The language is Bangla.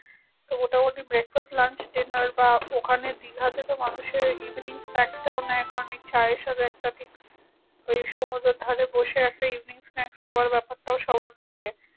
তো মোটামুটি breakfast lunch dinner বা ওখানে দীঘাতে তো মানুষের easily snacks টাও নেই কারণ এই চায়ের সাথে একটা ঠিক ওই সুমুদ্রর ধরে বসে একটা eveningsnacks খাবার ব্যাপারটাও সবার থাকে